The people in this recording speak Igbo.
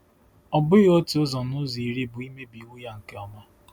Ọ bụghị otu ụzọ n'ụzọ iri bụ imebi iwu ya nke ọma.